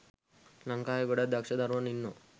ලංකාවේ ගොඩක් දක්ෂ දරුවන් ඉන්නවා.